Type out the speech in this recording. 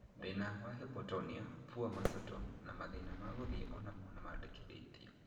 Thĩna wa Hypotonia ( poor muscle tone) na mathĩna ma gũthiĩ onamo nĩmandĩkithĩtio